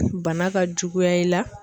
Bana ka juguya i la.